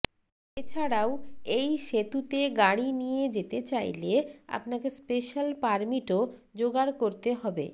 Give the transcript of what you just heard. এছাড়াও এই সেতুতে গাড়ি নিয়ে যেতে চাইলে আপনাকে স্পেশাল পারমিটও যোগাড় করতে হবে